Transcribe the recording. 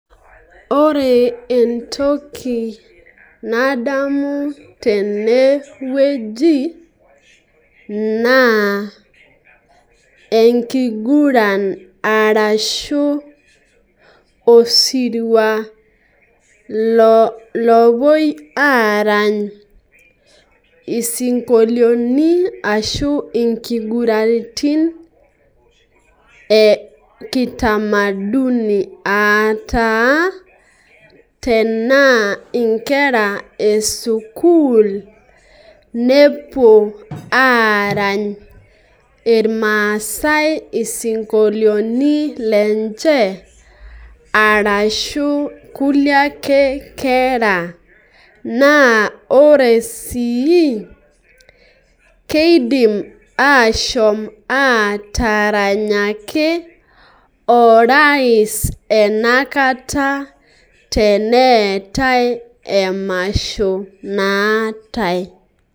Ore toki nadamu tenewueji naa enkiguran arashu osirua lopuoi arany isdinkolioni ashu inkiguraniti eutamaduni ataa tenaa inkera esukul nepuo arany irmaasae isinkolioni arashu kulie ake kera naa ore sii kidim ashom ataranyaki orais enakata teneetae emasho naatae .